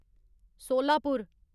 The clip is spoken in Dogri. सोलापुर